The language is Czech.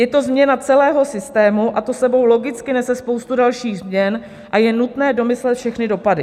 Je to změna celého systému, to s sebou logicky nese spoustu dalších změn a je nutné domyslet všechny dopady.